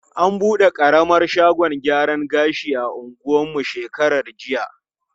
An bude ƙaramar shagon gyaran gashi a anguwan mu shekarar jiya.